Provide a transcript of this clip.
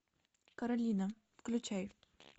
королина включай